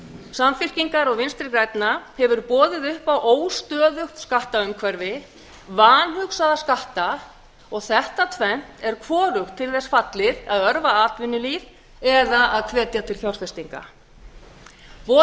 samfylkingar og vinstri grænna hefur boðið upp á óstöðugt skattaumhverfi vanhugsaða skatta og þetta tvennt er hvorugt til þess fallið að örva atvinnulíf eða hvetja til fjárfestinga boðaðar